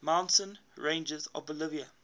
mountain ranges of bolivia